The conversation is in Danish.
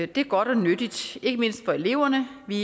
det er godt og nyttigt ikke mindst for eleverne vi